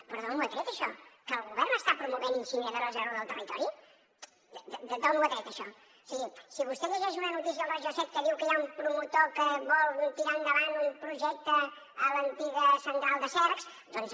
però d’on ho ha tret això que el govern està promovent incineradores arreu del territori d’on ho ha tret això o sigui si vostè llegeix una notícia al regió7 que diu que hi ha un promotor que vol tirar endavant un projecte a l’antiga central de cercs doncs